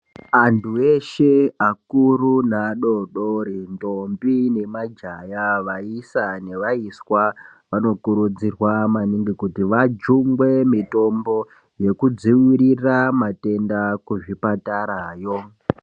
Anthu eshe, akuru neadoodori, ndombi nemajaya, vaisa nevaiswa, vanokurudzirwa maningi kuti vajungwe mitombo yekudziirira matenda, kuzvipatara yo.